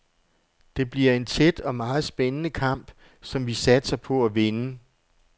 Det bliver en tæt og meget spændende kamp, som vi satser på at vinde.